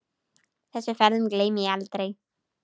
Þessum ferðum gleymi ég aldrei.